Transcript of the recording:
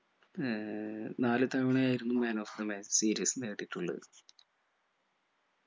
ഏർ നാല് തവണ ആയിരുന്നു man of the match series നേടിയിട്ടുള്ളത്